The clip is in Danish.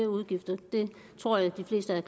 udgifter det tror jeg